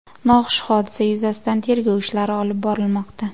Noxush hodisa yuzasidan tergov ishlari olib borilmoqda.